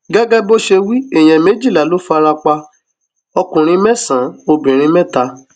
gẹgẹ bó ṣe wí èèyàn méjìlá ló fara pa ọkùnrin mẹsànán obìnrin mẹta